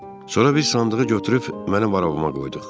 Sonra biz sandığı götürüb mənim arabama qoyduq.